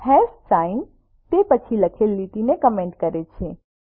hash sign તે પછી લખેલ લીટીને કમેન્ટ કરે છે